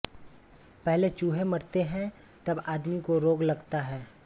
पहले चूहे मरते हैं तब आदमी को रोग लगता है